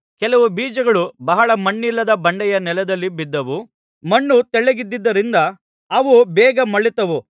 ಕೆಲವು ಬೀಜಗಳು ಬಹಳ ಮಣ್ಣಿಲ್ಲದ ಬಂಡೆಯ ನೆಲದಲ್ಲಿ ಬಿದ್ದವು ಮಣ್ಣು ತೆಳ್ಳಗಿದ್ದುದರಿಂದ ಅವು ಬೇಗ ಮೊಳೆತವು